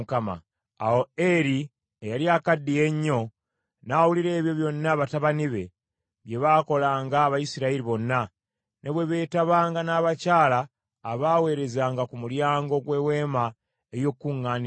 Awo Eri eyali akaddiye ennyo, n’awulira ebyo byonna batabani be bye baakolanga Abayisirayiri bonna, ne bwe beetabanga n’abakyala abaweerezanga ku mulyango gw’Eweema ey’Okukuŋŋaanirangamu.